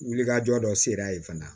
Wulikajɔ dɔ sera a ye fana